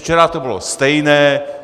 Včera to bylo stejné.